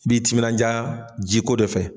I bi timinanja jiko de fɛ